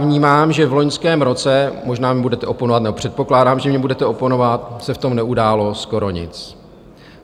Vnímám, že v loňském roce - možná mi budete oponovat, nebo předpokládám, že mi budete oponovat - se v tom neudálo skoro nic.